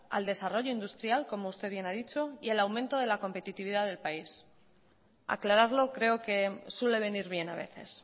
al desarrollo industrial como usted bien ha dicho y al aumento de la competitividad del país aclararlo creo que suele venir bien a veces